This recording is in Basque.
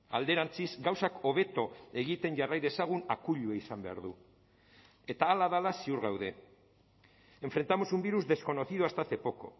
alderantziz gauzak hobeto egiten jarrai dezagun akuilua izan behar du eta hala dela ziur gaude enfrentamos un virus desconocido hasta hace poco